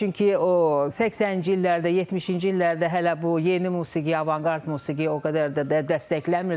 Çünki o 80-ci illərdə, 70-ci illərdə hələ bu yeni musiqi, avanqard musiqi o qədər də dəstəklənmirdi.